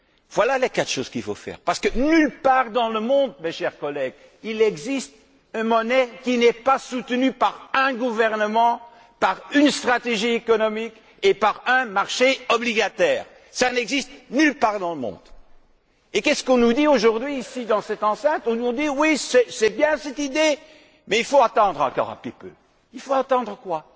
Voilà les quatre choses qu'il faut faire, parce que nulle part dans le monde, chers collègues, il n'existe une monnaie qui n'est pas soutenue par un gouvernement, par une stratégie économique et par un marché obligataire. Cela n'existe nulle part dans le monde. Et que nous dit on aujourd'hui ici, dans cette enceinte? On nous dit Oui, c'est bien cette idée, mais il faut attendre encore un petit peu. Il faut attendre quoi?